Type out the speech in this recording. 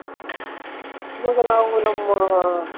ಇವಾಗ ನಾವು ನಮ್ಮ